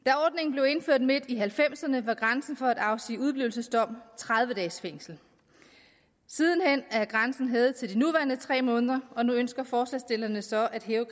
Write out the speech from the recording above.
blev indført midt i nitten halvfemserne var grænsen for at afsige udeblivelsesdom tredive dages fængsel siden hen er grænsen hævet til de nuværende tre måneder og nu ønsker forslagsstillerne så at hæve